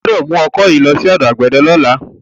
O gbọ́dọ̀ mú ọkọ yìí lọ sí ọ̀dọ̀ àgbẹ̀dẹ lọ́la.